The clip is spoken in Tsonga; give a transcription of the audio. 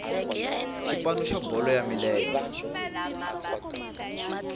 xipano xa bolo ya milenge